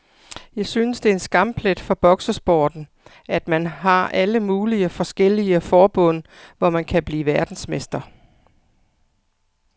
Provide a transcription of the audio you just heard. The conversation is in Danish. Jeg synes det er en skamplet for boksesporten, at man har alle mulige forskellige forbund, hvor man kan blive verdensmester.